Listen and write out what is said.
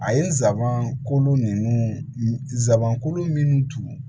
A ye n sabanan kolon ninnu zan kolon minnu turu